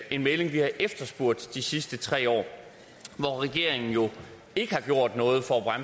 en melding vi har efterspurgt de sidste tre år hvor regeringen jo ikke har gjort noget for at